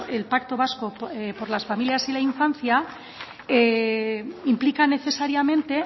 el pacto vasco por las familias y la infancia implica necesariamente